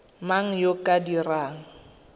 mang yo o ka dirang